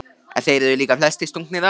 En þeir eru líka flestir stungnir af.